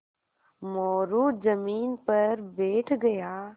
मोरू ज़मीन पर बैठ गया